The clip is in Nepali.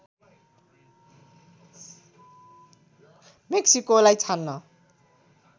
मेक्सिकोलाई छान्न